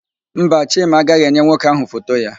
Mba, Chima agaghị enye nwoke ahụ foto ya.